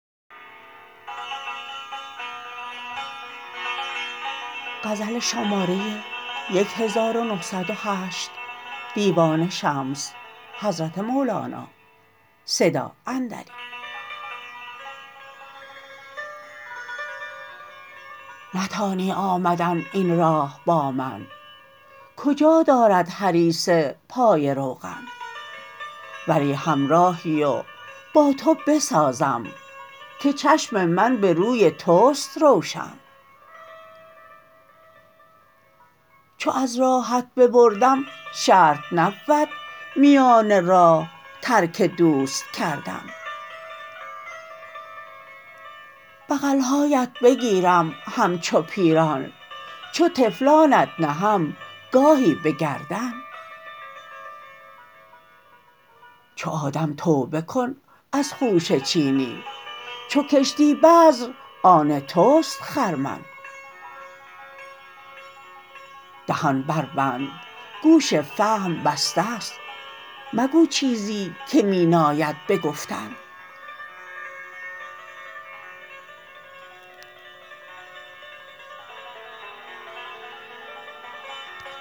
نتانی آمدن این راه با من کجا دارد هریسه پای روغن ولی همراهی و با تو بسازم که چشم من به روی توست روشن چو از راهت ببردم شرط نبود میان راه ترک دوست کردن بغل هایت بگیرم همچو پیران چو طفلانت نهم گاهی به گردن چو آدم توبه کن از خوشه چینی چو کشتی بذر آن توست خرمن دهان بربند گوش فهم بسته ست مگو چیزی که می ناید به گفتن